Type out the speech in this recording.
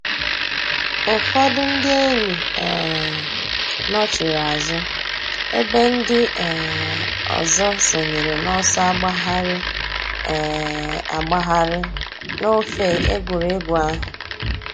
Ụ́fọ̀dù ńdí èn̄yì um nọ̀chiri àzụ̀ èbè ńdí um òzò sọǹyèrè n'ọ̀sọ̀ àgbàghàrì um àgbàghàrì n'òfè ègwè́régwụ̀ àhụ̀.